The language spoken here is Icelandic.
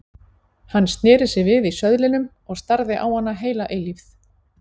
Hann sneri sér við í söðlinum og starði á hana heila eilífð.